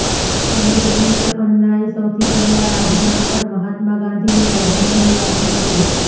શહીદ દિવસે અન્નાએ સૌથી પહેલા રાજઘાટ પર મહાત્મા ગાંધીને શ્રદ્ધાંજલિ આપી હતી